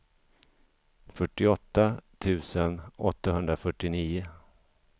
fyrtioåtta tusen åttahundrafyrtionio